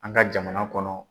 An ka jamana kɔnɔ